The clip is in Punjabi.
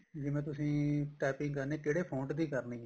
ਜਿਵੇਂ ਤੁਸੀਂ typing ਕਰਨੀ ਏ ਕਿਹੜੇ font ਦੀ ਕਰਨੀ ਏ